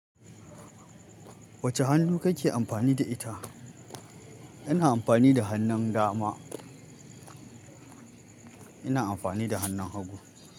Wace hannu kake amfani da ita? Ina amfani da hannun dama. Ina amfani da hannun hagu.